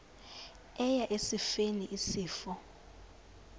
eya esifeni isifo